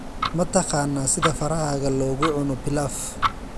Ma taqaanaa sida farahaaga loogu cuno pilaf?